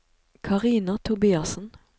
Karina Tobiassen